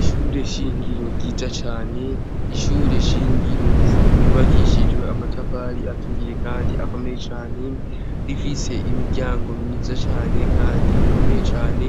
Ishure shingiro ryiza cane. Ishure shingiro ryubakishijwe amatafari aturiye kandi akomeye cane. Rifise imiryango myiza cane, kandi ikomeye cane